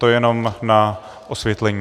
To jenom na osvětlení.